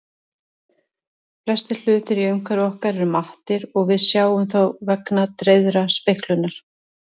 Flestir hlutir í umhverfi okkar eru mattir og við sjáum þá vegna dreifðrar speglunar.